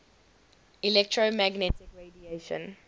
electromagnetic radiation